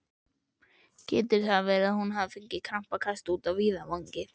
Getur verið að hún hafi fengið krampakast úti á víðavangi?